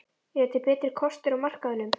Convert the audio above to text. Eru til betri kostir á markaðnum?